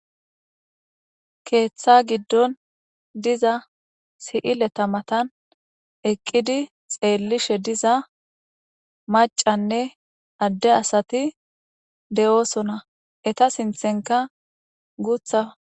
Keeththa giddon diza si7ileta matan eqqidi xeellishe diza macanne adde asati de7oosona eta sinthenka gutha.